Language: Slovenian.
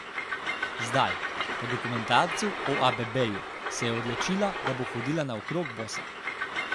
Zdaj, po dokumentarcu o Abebeju, se je odločila, da bo hodila naokrog bosa.